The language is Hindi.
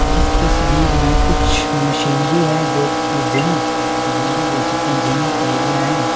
इस तस्वीर में कुछ मशीनरी है जो कि जिम जिम भी बोल सकते हैंजिम का एरिया है।